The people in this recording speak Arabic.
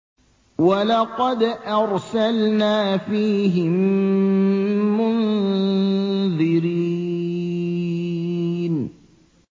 وَلَقَدْ أَرْسَلْنَا فِيهِم مُّنذِرِينَ